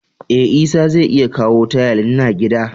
Eh, Isah zai iya kawo tayal, n'na gida.